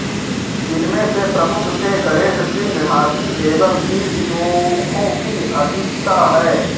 जिनमे से प्रमुख थे गणेश सिंह हाथी एवं कीर्ति मुखो की अधिकता है